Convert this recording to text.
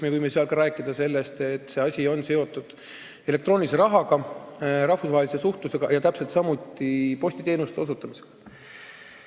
Me võime ka rääkida, et see asi on seotud elektroonilise rahaga, rahvusvahelise suhtlusega ja täpselt samuti postiteenuste osutamisega.